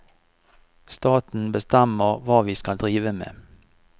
Staten bestemmer hva vi skal drive med.